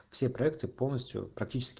все проекты полностью практически